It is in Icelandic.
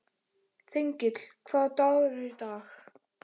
Þengill, hvaða dagur er í dag?